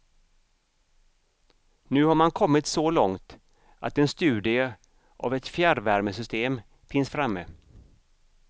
Nu har man kommit så långt att en studie av ett fjärrvärmesystem finns framme.